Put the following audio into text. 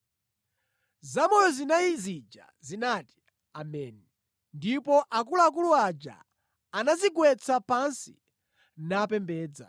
Zamoyo zinayi zija zinati: “Ameni,” ndipo akuluakulu aja anadzigwetsa pansi napembedza.